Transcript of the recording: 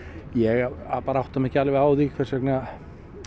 ég bara átta mig ekki alveg á því hvers vegna